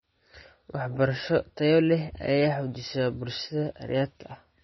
Waxbarasho tayo leh ayaa xoojisa bulshada rayidka ah .